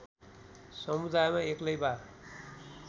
समुदायमा एक्लै वा